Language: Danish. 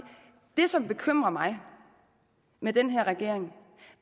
det som bekymrer mig med den her regering